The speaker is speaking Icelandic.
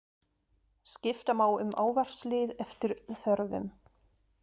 Skipta má um ávarpslið eftir þörfum.